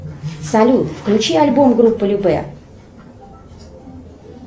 салют включи альбом группы любэ